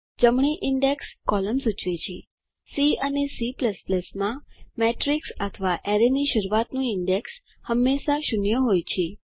જમણી index column સૂચવે છે સી અને C માં મેટ્રીક્સ અથવા એરેની શરૂઆતનું ઇન્ડેક્સ હંમેશા 0 હોય છે